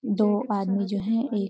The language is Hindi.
दो आदमी जो है एक --